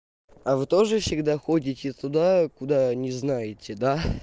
а вы тоже всегда ходите туда куда не знаете да